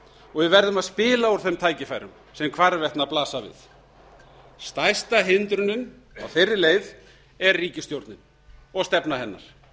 og við verðum að spila úr þeim tækifærum sem hvarvetna blasa við stærsta hindrunin á þeirri leið er ríkisstjórnin og stefna hennar